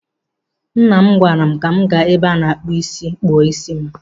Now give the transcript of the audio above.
Nne m gwaara m ka m gaa n'ebe a na-akpụ ísí kpụọ ísí m.